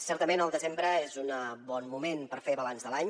certament el desembre és un bon moment per fer balanç de l’any